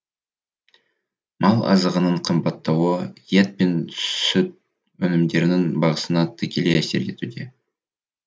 мал азығының қымбаттауы ет пен сүт өнімдерінің бағасына тікелей әсер етуде